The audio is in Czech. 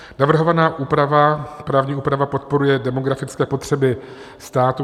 Navrhovaná právní úprava podporuje demografické potřeby státu.